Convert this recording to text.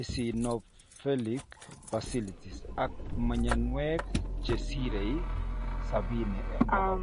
eosionophilic fasciitis ang mnyanwek che sirei 70%